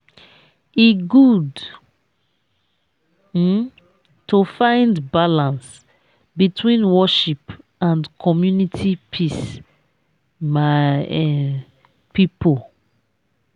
e good um to find balance between worship and community peace my um pipo.